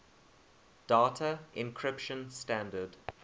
data encryption standard